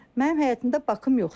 Mənim həyətimdə bakım yoxdur.